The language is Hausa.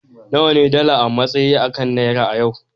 nawa ne dala a matsayi kan naira a yau